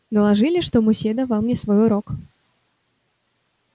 доложили что мусье давал мне свой урок